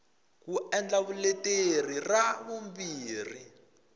ku endla vuleteri ra vumbirhi